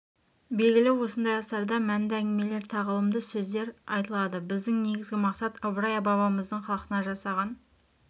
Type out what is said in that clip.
белгілі осындай астарда мәнді әңгімелер тағылымды сөздер айтылады біздің негізгі мақсат ыбырай бабамыздың халқына жасаған